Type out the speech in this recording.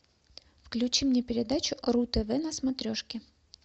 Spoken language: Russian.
включи мне передачу ру тв на смотрешке